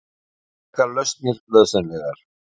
Sérstakar lausnir nauðsynlegar